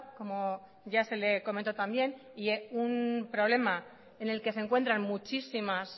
como ya se le comento también un problema en el que se encuentran muchísimas